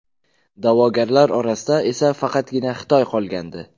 Da’vogarlar orasida esa faqatgina Xitoy qolgandi.